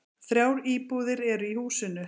Þrjár íbúðir eru í húsinu.